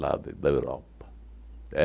de da Europa.